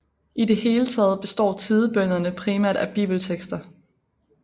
I det hele taget består tidebønnerne primært af bibeltekster